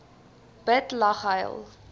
bid lag huil